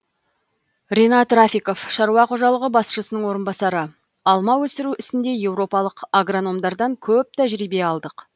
ринат рафиков шаруа қожалығы басшысының орынбасары алма өсіру ісінде еуропалық агрономдардан көп тәжірибе алдық